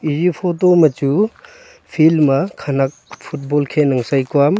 ezi photo ma chu field ma khanak football khen aa sai kuam.